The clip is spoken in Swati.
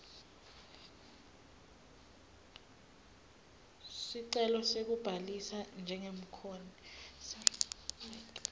sicelo sekubhalisa njengemkhokhi